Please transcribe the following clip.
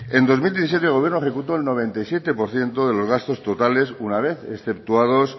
en dos mil diecisiete el gobierno ejecutó el noventa y siete por ciento de los gastos totales una vez exceptuados